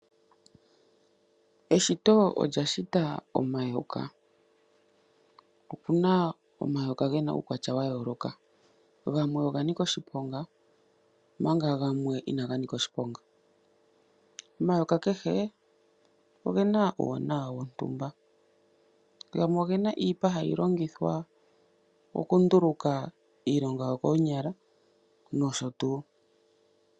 Eshito olya shita omayoka, opuna omayoka gena uukwatya wa yooloka. Gamwe oga nika oshiponga omanga gamwe inaga nika oshiponga. Omayoka kehe ogena uuwanawa wontumba, ogena iipa hayi longithwa okunduluka iigonda yo koonyala nosho tuuu.